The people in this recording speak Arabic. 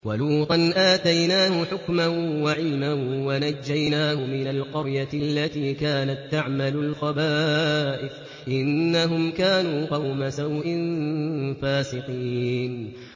وَلُوطًا آتَيْنَاهُ حُكْمًا وَعِلْمًا وَنَجَّيْنَاهُ مِنَ الْقَرْيَةِ الَّتِي كَانَت تَّعْمَلُ الْخَبَائِثَ ۗ إِنَّهُمْ كَانُوا قَوْمَ سَوْءٍ فَاسِقِينَ